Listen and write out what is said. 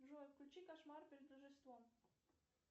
джой включи кошмар перед рождеством